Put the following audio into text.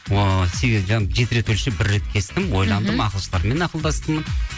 ыыы жеті рет өлшеп бір рет кестім ойландым ақылшылармен ақылдастым